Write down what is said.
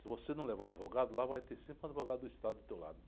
Se você não levar advogado lá, vai ter sempre um advogado do Estado do teu lado.